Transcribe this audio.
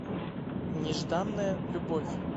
нежданная любовь